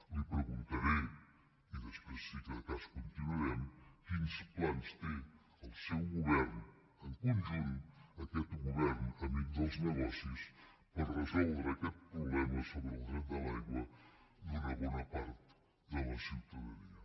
li preguntaré i després si de cas continuarem quins plans té el seu govern en conjunt aquest govern amic dels negocis per resoldre aquest problema sobre el dret de l’aigua d’una bona part de la ciutadania